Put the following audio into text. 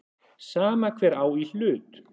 Sama hver á í hlut.